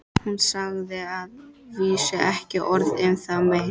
Hún sagði að vísu ekki orð um það meir.